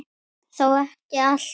Þó ekki allt.